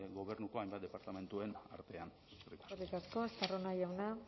gobernuko hainbat departamentuen artean eskerrik asko eskerrik asko estarrona jauna